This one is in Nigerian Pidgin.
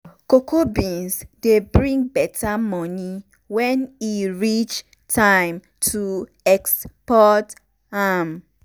cocoa beans dey bring better money when e reach time to export am